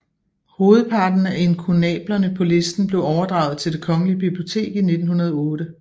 Hovedparten af inkunablerne på listen blev overdraget til Det Kongelige Bibliotek i 1908